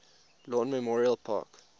lawn memorial park